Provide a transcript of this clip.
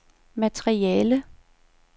materiale